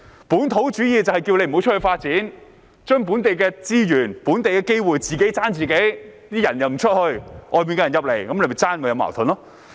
"本土主義"就是主張不要到外面發展，把本地的資源、本地的機會"自己爭自己"；人們不到外面，外面的人進來爭奪的話就有矛盾。